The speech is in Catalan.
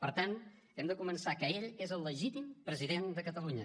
per tant hem de començar que ell és el legítim president de catalunya